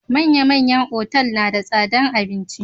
Manya-manyan otal na da tsadar abinci.